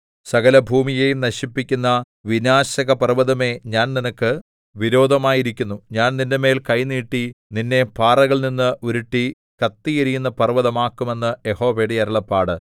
സകലഭൂമിയെയും നശിപ്പിക്കുന്ന വിനാശകപർവ്വതമേ ഞാൻ നിനക്ക് വിരോധമായിരിക്കുന്നു ഞാൻ നിന്റെമേൽ കൈ നീട്ടി നിന്നെ പാറകളിൽനിന്ന് ഉരുട്ടി കത്തിയെരിയുന്ന പർവ്വതം ആക്കും എന്ന് യഹോവയുടെ അരുളപ്പാട്